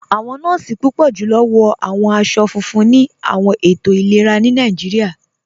Awọn nọọ̀si púpọ̀ julọ wọ̀ awọn aṣọ̀ fúnfún ni awọn ètò ilẹ̀rà ni Nàìjíríà.